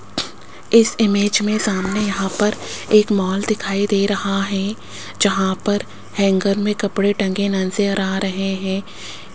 इस इमेज में सामने यहां पर एक मॉल दिखाई दे रहा है जहां पर हैंगर में कपड़े टंगे नजर आ रहे हैं।